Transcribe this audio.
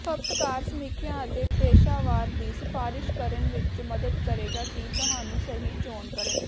ਖਪਤਕਾਰ ਸਮੀਖਿਆ ਅਤੇ ਪੇਸ਼ਾਵਰ ਦੀ ਸਿਫਾਰਸ਼ ਕਰਨ ਵਿੱਚ ਮਦਦ ਕਰੇਗਾ ਕਿ ਤੁਹਾਨੂੰ ਸਹੀ ਚੋਣ ਕਰਨ